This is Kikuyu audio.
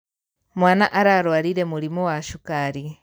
Mwana ararwarire mũrimũ wa cukari.